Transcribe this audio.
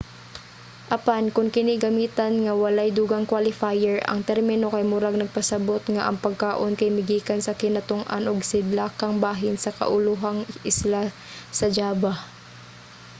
apan kon kini gamitan nga walay dugang qualifier ang termino kay murag nagpasabot nga ang pagkaon kay migikan sa kinatung-an ug sidlakang bahin sa kaulohang isla sa java